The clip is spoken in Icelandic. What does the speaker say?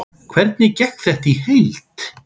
Hvernig gekk þetta í heild?